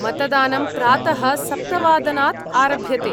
मतदानं प्रातः सप्तवादनात् आरभ्यते।